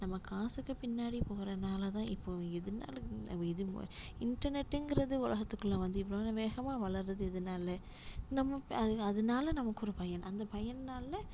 நம்ம காசுக்கு பின்னாடி போறனாலதான் இப்போ எதுனாலும் இது இன்டர்நெட்ங்கிறது உலகத்துக்குள்ள வந்து இவ்வளவு வேகமா வளர்றது இதுனால நமக்கு அது அதனால நமக்கு ஒரு பயன் அந்த பயனால